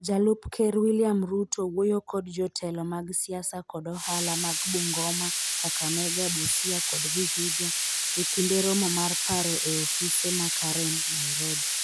Jalup Ker William Ruto wuoyo kod jotelo mag siasa kod ohala mag Bungoma, Kakamega, Busia kod Vihiga e kinde romo mar paro e ofise ma Karen, Nairobi.